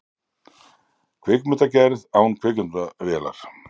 Kvikmyndagerð án kvikmyndavélar